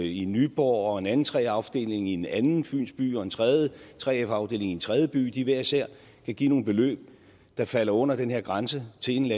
i nyborg og en anden 3f afdeling i en anden fynsk by og en tredje 3f afdeling i en tredje by hver især kan give nogle beløb der falder under den her grænse til en